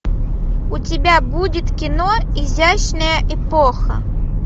у тебя будет кино изящная эпоха